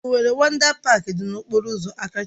Owerri Wọndá Páák dị na okpọrọ ụzọ Akachi